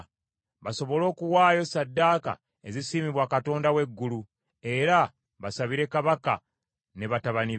basobole okuwaayo ssaddaaka ezisiimibwa Katonda w’eggulu, era basabire kabaka ne batabani be.